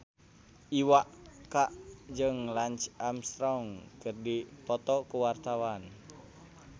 Iwa K jeung Lance Armstrong keur dipoto ku wartawan